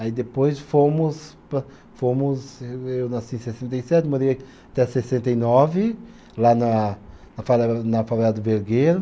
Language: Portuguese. Aí depois fomos pa, fomos ê eu nasci em sessenta e sete, morei até sessenta e nove, lá na na favela, na favela do Vergueiro.